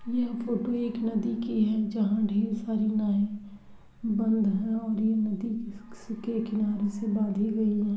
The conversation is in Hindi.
यह फोटो एक नदी की है। जहाँ ढेर सारी नाये बंद है और ये नदी के किनारे से बांधी गयी हैं।